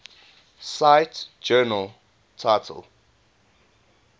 cite journal title